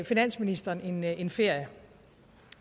finansministeren en ferie